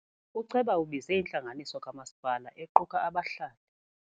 Uceba ubize intlanganiso kamasipala equka abahlali.